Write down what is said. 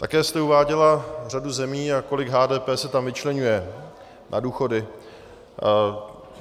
Také jste uváděla řadu zemí a kolik HDP se tam vyčleňuje na důchody.